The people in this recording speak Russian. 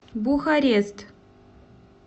бухарест